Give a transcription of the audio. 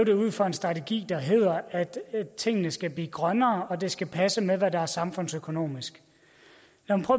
det ud fra en strategi der hedder at tingene skal blive grønnere og at det skal passe med hvad der er samfundsøkonomisk jeg